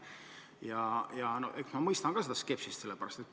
Eks ma mõistan ka seda skepsist.